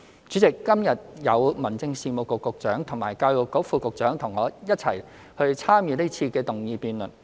主席，今日有民政事務局局長及教育局副局長與我一起參與這次的議案辯論。